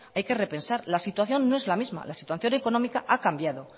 hay que repensar la situación no es la misma la situación económica ha cambiado